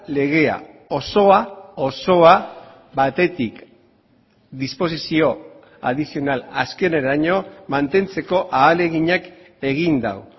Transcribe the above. legea osoa osoa batetik disposizio adizional azkeneraino mantentzeko ahaleginak egin du